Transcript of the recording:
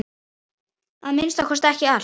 Að minnsta kosti ekki allt.